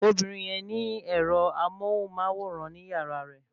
Ọmọbìnrin yẹn ní ẹ́rọ amóhùnmáwòrán ní yàrá rẹ